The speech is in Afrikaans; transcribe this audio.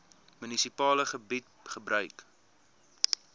munisipale gebied gebruik